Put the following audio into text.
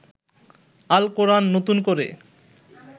আল কোরান নতুন করে